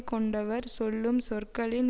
கொண்டவர் சொல்லும் சொற்களின்